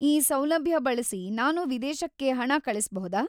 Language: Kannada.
ಈ ಸೌಲಭ್ಯ ಬಳ್ಸಿ ನಾನು ವಿದೇಶಕ್ಕೆ ಹಣ ಕಳಿಸ್ಬಹುದಾ?